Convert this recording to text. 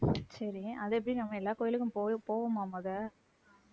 சரி அதை எப்படி நம்ம எல்லா கோயிலுக்கும் போவ~ போவோமா முத